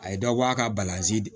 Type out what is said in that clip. A ye dɔ bɔ a ka balanzi